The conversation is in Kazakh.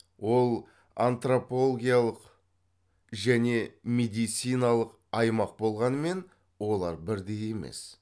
ол антропологиялық және медициналық аймақ болғанымен олар бірдей емес